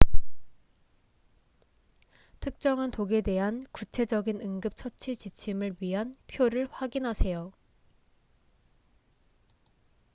특정한 독에 대한 구체적인 응급처치 지침을 위한 표를 확인하세요